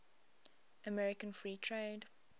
american free trade